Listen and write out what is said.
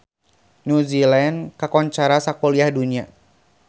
New Zealand kakoncara sakuliah dunya